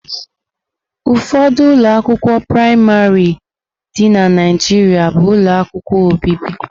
Ụfọdụ ụlọ akwụkwọ praịmarị dị na Naịjirịa bụ ụlọ akwụkwọ obibi.